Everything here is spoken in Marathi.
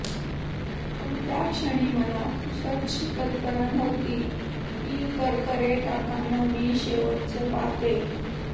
पण त्याक्षणी मला पुसटशीही कल्पना नव्हती की करकरे काकांना मी शेवटचं पाहतेय